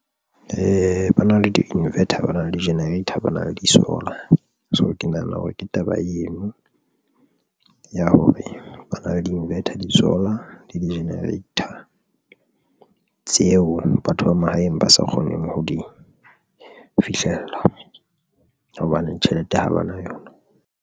[um Ba na le di-inverter, ba na le di-generator, ba na le di-solar. So ke nahana hore ke taba eno ya hore ba na le di-inverter di-solar le di-generator tseo batho ba mahaeng ba sa kgoneng ho di fihlella hobane tjhelete ha ba na yona.